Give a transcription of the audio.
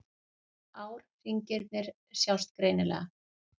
Árhringirnir sjást greinilega.